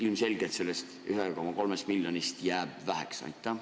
Ilmselgelt jääb sellest 1,3 miljonist väheks.